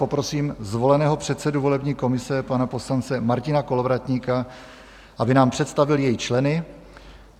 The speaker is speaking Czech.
Poprosím zvoleného předsedu volební komise, pana poslance Martina Kolovratníka, aby nám představil její členy.